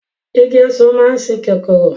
Igi Ọ̀sán máa ń sìn kòkòrò